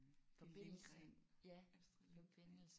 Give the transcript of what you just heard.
Det er Lindgren. Astrid Lindgren